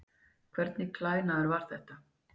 Hvernig klæðnaður var þetta?